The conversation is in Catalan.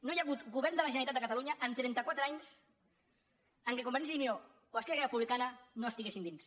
no hi ha hagut govern de la generalitat de catalunya en trenta quatre anys en què convergència i unió o esquerra republicana no estiguessin dins